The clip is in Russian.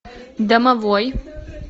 домовой